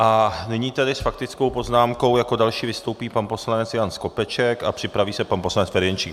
A nyní tedy s faktickou poznámkou jako další vystoupí pan poslanec Jan Skopeček a připraví se pan poslanec Ferjenčík.